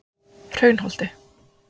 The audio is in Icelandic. Hraunholti